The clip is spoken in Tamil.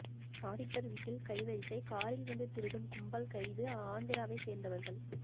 ஆடிட்டர் வீட்டில் கைவரிசை காரில் வந்து திருடும் கும்பல் கைது ஆந்திராவை சேர்ந்தவர்கள்